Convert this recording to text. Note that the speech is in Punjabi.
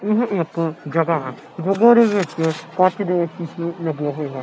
ਏਹ ਇੱਕ ਜਗਾਹ ਹੈ ਦੇ ਵਿੱਚ ਕੰਚ ਦੇ ਸ਼ੀਸ਼ੇ ਲੱਗੇ ਹੋਏ ਹਨ।